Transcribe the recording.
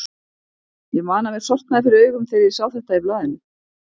Ég man að mér sortnaði fyrir augum þegar ég sá þetta í blaðinu.